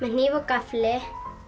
hníf og gaffli